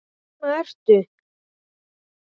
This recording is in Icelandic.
Þarna ertu!